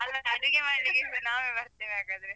ಹಾಗಾದ್ರೆ ಅಡಿಗೆ ಮಾಡ್ಲಿಕ್ಕೆಸ ನಾವೇ ಬರ್ತೇವೆ ಹಾಗಾದ್ರೆ